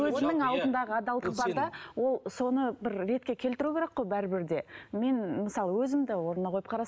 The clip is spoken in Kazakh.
өзінің алдындағы адалдық бар да ол соны бір ретке келтіру керек қой бәрібір де мен мысалы өзімді орнына қойып